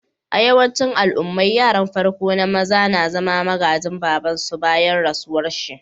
A'yawancin al'ummai, yaran farko na maza na zama magajin baba'n su bayan rasuwan shi.